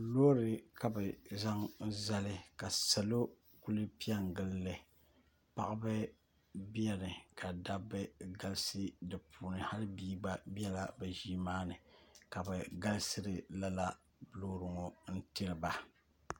Loori ka bɛ zaŋ zali ka salo kuli pe n-gili li paɣiba beni ka dabba galisi di puuni hali bia gba bela bɛ ʒii maa nii ka bɛ galisiri loori ŋɔ n-tiri ba